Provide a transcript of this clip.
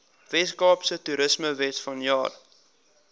weskaapse toerismewet vanjaar